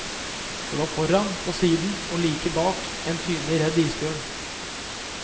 De var foran, på siden og like bak en tydelig redd isbjørn.